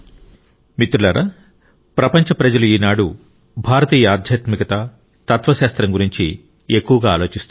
మిత్రులారా ప్రపంచ ప్రజలు ఈనాడు భారతీయ ఆధ్యాత్మికత తత్వశాస్త్రం గురించి ఎక్కువగా ఆలోచిస్తున్నారు